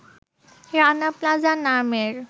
Rana Plaza নামের